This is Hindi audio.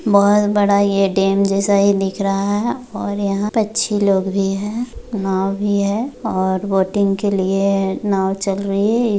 बहुत बड़ा यह डैम जैसा ही दिख रहा है और यहाँ पर अच्छे लोग भी है नाव भी है और बोटिंग के लिए नाव चल रही है।